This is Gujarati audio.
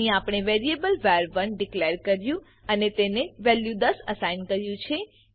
અહી આપણે વેરીએબલ વર1 ડીકલેર કર્યું અને તેને વેલ્યુ 10 અસાઇન કર્યું છે